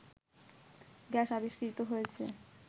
gas আবিষ্কৃত হয়েছে